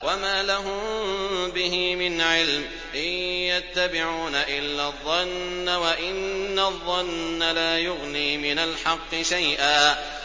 وَمَا لَهُم بِهِ مِنْ عِلْمٍ ۖ إِن يَتَّبِعُونَ إِلَّا الظَّنَّ ۖ وَإِنَّ الظَّنَّ لَا يُغْنِي مِنَ الْحَقِّ شَيْئًا